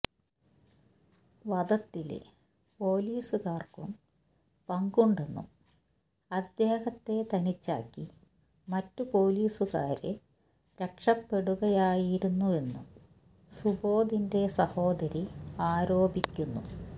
വധത്തില് പോലീസുകാര്ക്കും പങ്കുണ്ടെന്നും അദ്ദേഹത്തെ തനിച്ചാക്കി മറ്റു പോലീസുകാര് രക്ഷപ്പെടുകയായിരുന്നുവെന്നും സൂബോധിന്റെ സഹോദരി ആരോപിക്കുന്നു